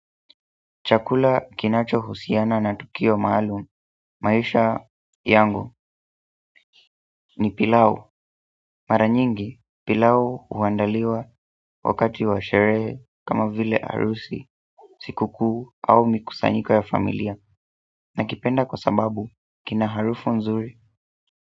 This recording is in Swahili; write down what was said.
Chakula kinacho husiana na tukio maalum maisha yangu ni pilau. Mara nyingi pilau huandaliwa wakati wa sherehe kama vile harusi, siku kuu au mikusanyiko ya familia nakipenda kwa sababu kina harufu nzuri.